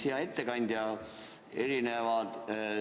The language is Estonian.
Hea ettekandja!